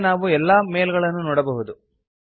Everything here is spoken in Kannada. ಈಗ ನಾವು ಎಲ್ಲಾ ಮೇಲ್ ಗಳನ್ನು ನೋಡಬಹುದು